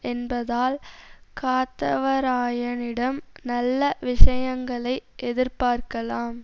என்பதால் காத்தவராயனிடம் நல்ல விஷயங்களை எதிர்பார்க்கலாம்